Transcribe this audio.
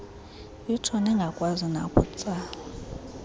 itsho ningakwazi nokutsala